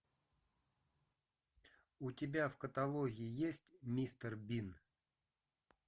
у тебя в каталоге есть мистер бин